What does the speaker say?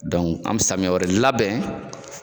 an be samiya wɛrɛ labɛn